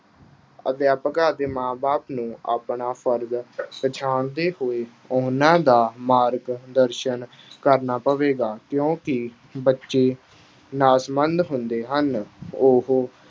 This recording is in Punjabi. ਅਧਿਆਪਕਾਂ ਅਤੇ ਮਾਂ-ਬਾਪ ਨੂੰ ਆਪਣਾ ਫ਼ਰਜ਼ ਪਛਾਣਦੇ ਹੋਏ, ਉਨ੍ਹਾਂ ਦਾ ਮਾਰਗ-ਦਰਸ਼ਨ ਕਰਨਾ ਪਵੇਗਾ, ਕਿਉਂ ਕਿ ਬੱਚੇ ਹੁੰਦੇ ਹਨ। ਉਹ